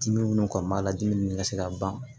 Dimi minnu kɔni b'a la dimi minnu ka se ka ban